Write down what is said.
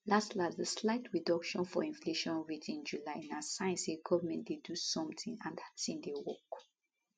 las las dis slight reduction for inflation rate in july na sign say goment dey do something and dat tin dey work